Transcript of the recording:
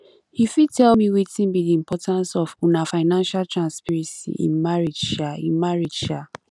you fit tell me wetin be di importance of um financial transparency in marriage um in marriage um